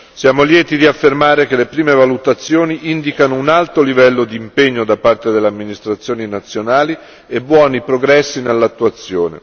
Siamo lieti di affermare che le prime valutazioni indicano un alto livello di impegno da parte delle amministrazioni nazionali e buoni progressi nell'attuazione.